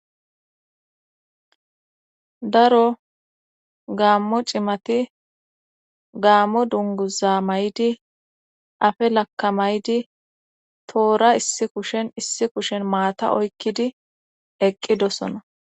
Daro gaammo cimati gaammo dunguza may'di afe lakkamaydi toora issi kushen issi kushen maata oykkidi eqqidosona.